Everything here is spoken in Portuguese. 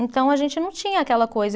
Então, a gente não tinha aquela coisa.